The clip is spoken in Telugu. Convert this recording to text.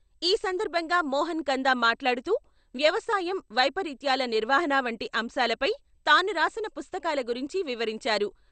ఈ సందర్భంగా మోహన కంద మాట్లాడుతూ వ్యవసాయం, వైపరీత్యాల నిర్వహణ వంటి అంశాలపై తాను రాసిన పుస్తకాల గురించి వివరించారు.